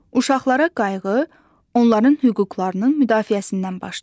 Uşaqlara qayğı onların hüquqlarının müdafiəsindən başlayır.